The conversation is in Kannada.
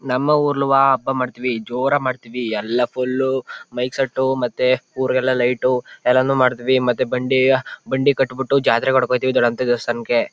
ನಮ್ಮ ಉರಳುವ ಹಬ್ಬ ಮಾಡ್ತೀವಿ ಜೋರಾಗ್ ಮಾಡ್ತೀವಿ ಎಲ್ಲ ಫುಲ್ ಮೈಕ್ ಸೆಟ್ ಮತ್ತೆ ಊರಿಗೆ ಎಲ್ಲ ಲೈಟ್ ಎಲ್ಲಾನು ಮಾಡ್ತೀವಿ ಮತ್ತೆ ಬಂಡೆ ಕಟಿಬಿಟ್ಟು ಜಾತ್ರೆ ಮಾಡೋಕ್ ಹೋಯ್ತಿವಿ ದೊಡಂತ ದೇವಸ್ಥಾನಕೆ.